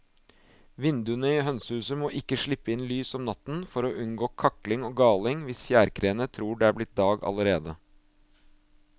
Vinduene i hønsehuset må ikke slippe inn lys om natten for å unngå kakling og galing hvis fjærkreene tror det er blitt dag allerede.